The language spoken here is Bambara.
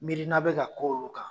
Miirinna bɛ ka ko' olu kan.